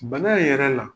Bana in yɛrɛ la